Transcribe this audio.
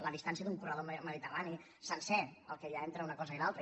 la distància d’un corredor mediterrani sencer el que hi ha entre una cosa i l’altra